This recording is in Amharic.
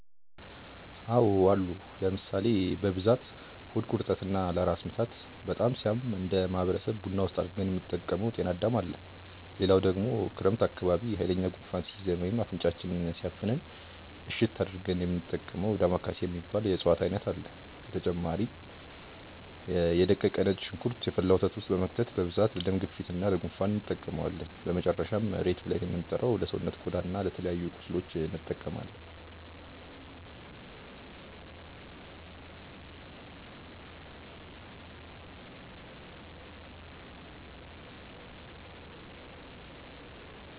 አዎ አሉ ለምሳሌ፦ በብዛት ሆድ ቁርጠት እና ለራስ ምታት በጣም ሲያም እነደ ማህበረሰብ ቡና ውስጥ አድርገን የምንጠቀመው ጤናዳም አለ፣ ሌላው ደግሞ ክረምት አካባቢ ሃይለኛ ጉንፋን ሲይዘን ወይም አፍንጫችንን ሲያፍነን እሽት አድርገን የሚንጠቀመው ዳማከሴ የሚባል የእፅዋት አይነት አለ፣ በተጨማሪ ደግሞ የ ደቀቀ ነጭ ሽንኩርት የፈላ ወተት ውስጥ በመክተት በብዛት ለደም ግፊት እና ለ ጉንፋን እንጠቀመዋለን፣ በመጨረሻም ሬት ብልን የምንጠራው ለሰውነት ቆዳ እና ለተለያዩ ቁስሎች እንጠቀማለን።